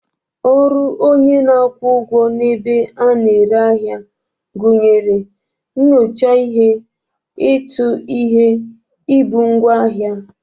Ọrụ onye na-akwụ ụgwọ n'ebe a na-ere ahịa gụnyere nyocha ihe, ịtụ ihe, ibu ngwaahịa..